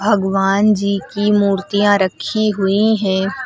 भगवान जी की मूर्तियां रखी हुई हैं।